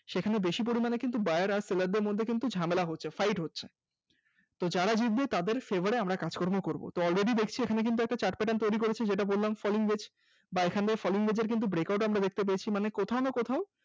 সেখানে বেশি পরিমাণে কিন্তু buyer আর seller দের মধ্যে কিন্তু ঝামেলা হচ্ছে fight হচ্ছে তো যারা জিতবে তাদের fabour এ কাজকর্ম করব already দেখছি এখানে কিন্তু একটা chart pattern তৈরি করেছে যেটা বললাম falling wedge বাএখান দিয়ে falling wedge এর কিন্তু breakout দেখতে পেয়েছি মানে কোথাও না কোথাও